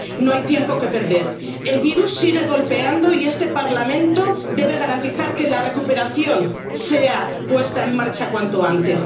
No hay tiempo que perder. El virus sigue golpeando y este Parlamento debe garantizar que la recuperación sea puesta en marcha cuanto antes.